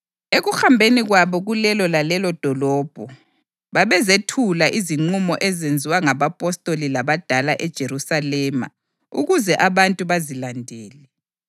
Ekuhambeni kwabo kulelo lalelodolobho, babezethula izinqumo ezenziwa ngabapostoli labadala eJerusalema ukuze abantu bazilandele.